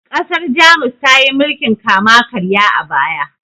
ƘasarJamus tayi mulkin kama karya a baya